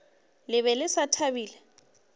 le be le sa thabile